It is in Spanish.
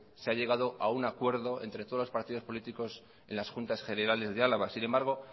se ha llegado a un acuerdo entre todos los partidos políticos en las juntas generales de álava sin embargo